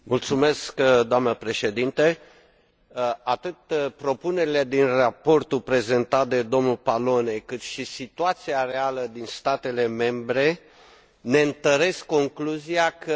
Atât propunerile din raportul prezentat de dl Pallone, cât și situația reală din statele membre ne întăresc concluzia că acestea se află pe un drum bun.